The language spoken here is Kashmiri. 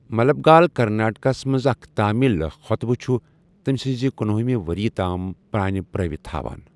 مٗلبگال كرناٹكہ ہس منز اكھ تامِل خو٘طبہٕ چھٗ تمہِ سٕنز کنۄہ ہِمہِ وریہ تام پر٘ٲنہِ پراوتھ ہاوان ۔